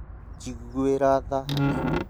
Njiguĩra tha hanini